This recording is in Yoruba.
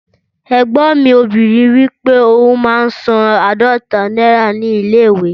Ẹ̀gbọ́n mi obìnrin wípé òun máa ń san aadọta náírà ní ilé ìwé